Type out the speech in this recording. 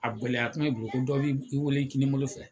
A gɛlɛya kuma i bolo ko dɔ b'i wele kini bolo fɛ